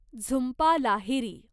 Jhumpa Lahiri